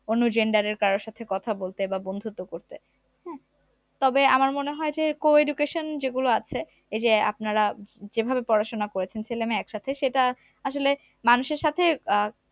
অন্য gender এর কারোর সাথে কথা বলতে বা বন্ধুত্ব করতে তবে আমার মনে হয় যে co-education যেগুলো আছে এইযে আপনারা যেভাবে পড়াশোনা করেছেন ছেলে মেয়ে একসাথে সেটা আসলে মানুষের সাথে আহ